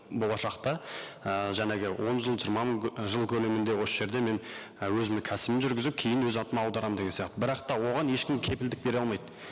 болашақта і жаңағы он жыл жиырма жыл көлемінде осы жерде мен і өзімнің кәсібімді жүргізіп кейін өз атыма аударамын деген сияқты бірақ та оған ешкім кепілдік бере алмайды